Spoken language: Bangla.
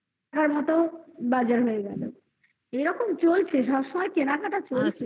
বাজার হয়ে গেলো এরকম চলছে সব সময় কেনাকাটা চলছে।